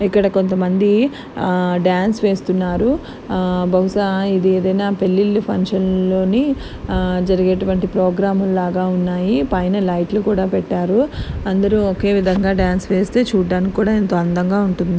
ఇక్కడ కొంత మంది డాన్స్ వేస్తున్నారు. బహుశా ఇది ఏదయినా పెళ్లిళ్ల ఫంక్షన్ లోని జరిగేటటువంటి ప్రోగ్రాము. లాగా ఉన్నాయి. పైన లైట్లు కూడా పెట్టారు. హు అందరు ఒకే విదంగా డాన్స్ వేస్తే చూడ్డానికి కూడా ఎంతో అందంగా ఉంటుంది.